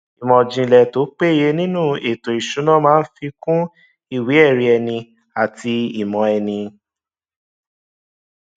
ìmòìjìnlè tó péye nínú ètò ìṣúná máa fi kún ìwé ẹrí ẹni àti ìmò ẹni